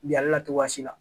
Bi ale la cogoyasi la